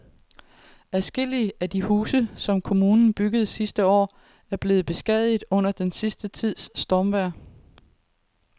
Adskillige af de huse, som kommunen byggede sidste år, er blevet beskadiget under den sidste tids stormvejr.